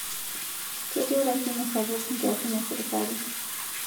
Ketii urasimu sapuk nkiasin esirkali